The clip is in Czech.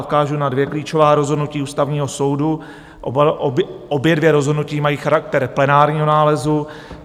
Odkážu na dvě klíčová rozhodnutí Ústavního soudu, obě dvě rozhodnutí mají charakter plenárního nálezu.